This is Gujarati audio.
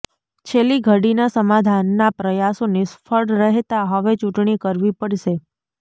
છેલ્લીઘડીના સમાધાનના પ્રયાસો નિષ્ફળ રહેતા હવે ચૂંટણી કરવી પડશે